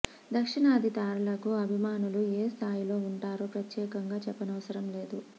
దక్షిణాది తారలకు అభిమానులు ఏ స్థాయిలో ఉంటారో ప్రత్యేకంగా చెప్పనవసరం లేదు